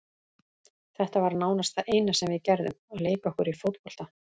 Þetta var nánast það eina sem við gerðum, að leika okkur í fótbolta.